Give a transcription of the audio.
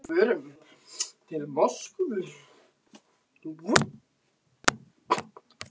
En ég var á förum til Moskvu.